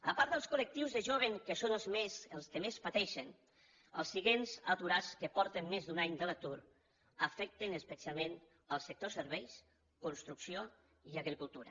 a part dels col·lectius de jóvens que són els que més pateixen els següents aturats que porten més d’un any a l’atur afecten especialment el sector serveis construcció i agricultura